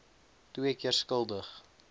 twee keer skuldig